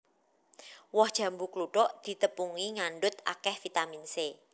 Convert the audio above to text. Woh jambu kluthuk ditepungi ngandhut akèh vitamin C